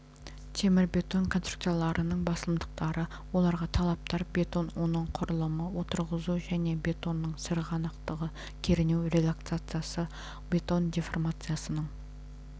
темірбетон конструкцияларының басымдықтары оларға талаптар бетон оның құрылымы отырғызу және бетонның сырғанақтығы кернеу релаксациясы бетон деформациясының